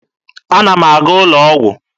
Ana m aga ụlọ ọgwụ.